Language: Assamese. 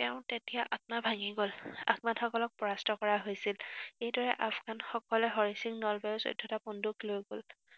তেওঁৰ তেতিয়া আত্মা ভাঙি গল। আফগানসকলক পৰাস্ত কৰা হৈছিল। এইদৰে আফগানসকলে হৰি সিং নলৱাৰ যুদ্ধলৈ বন্দুক লৈ গল।